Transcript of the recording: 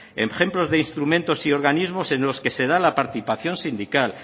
ejemplos de instrumentos y organismos en los que se dan la participación sindical